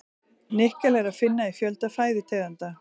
Nikkel er að finna í fjölda fæðutegunda.